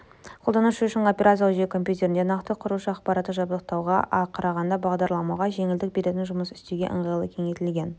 қолданушы үшін операциялық жүйе компьютерді нақты құрушы аппараттық жабдықтауға қарағанда бағдарламалауға жеңілдік беретін жұмыс істеуге ыңғайлы кеңейтілген